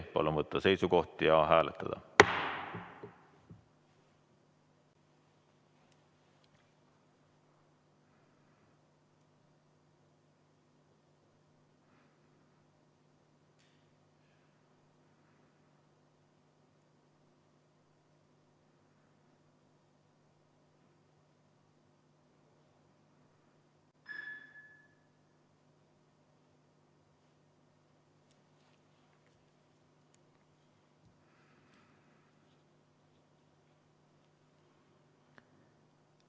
Palun võtta seisukoht ja hääletada!